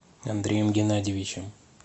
андреем геннадьевичем